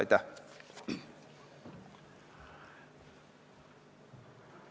Aitäh!